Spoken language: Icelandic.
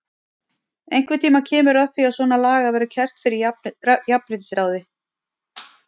Einhvern tímann kemur að því að svona lagað verður kært fyrir jafnréttisráði.